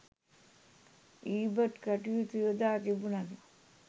ඊබට් කටයුතු යොදා තිබුණද